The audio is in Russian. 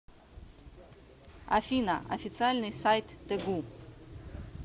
афина официальный сайт тэгу